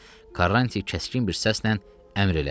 Karranti kəskin bir səslə əmr elədi.